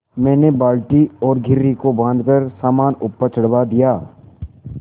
मैंने बाल्टी और घिर्री को बाँधकर सामान ऊपर चढ़वा दिया